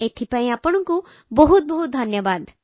ଏଥିପାଇଁ ବହୁତ ଧନ୍ୟବାଦ